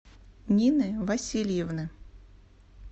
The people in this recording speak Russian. нины васильевны